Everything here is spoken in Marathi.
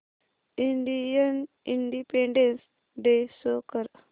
इंडियन इंडिपेंडेंस डे शो कर